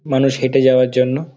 মানুষ হেঁটে যাওয়ার জন্য --